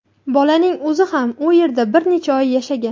Bolaning o‘zi ham u yerda bir necha oy yashagan.